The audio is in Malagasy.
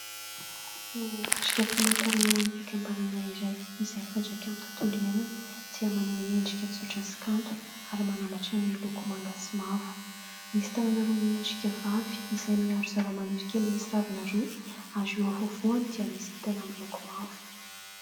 Ny marika famantarana ho an'ny fikambanana iray izay mifandraika amin'ny tontolo iainana dia maneho endrika tsotra sy kanto ary mananambatra ny loko manga sy mavo. Misy tanana roa miendrika vavy izay miaro zavamaniry kely misy ravina roa, ary eo afovoany dia misy kintana miloko mavo.